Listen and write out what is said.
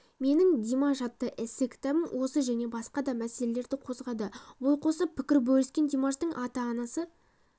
менің димаш атты эссе-кітабым осы және басқа да мәселелерді қозғады ой қосып пікір бөліскен димаштың ата-анасы